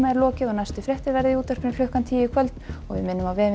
lokið næstu fréttir verða í útvarpinu klukkan tíu í kvöld og við minnum á vefinn